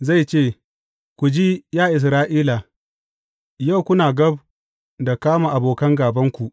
Zai ce, Ku ji, ya Isra’ila, yau kuna gab da kama da abokan gābanku.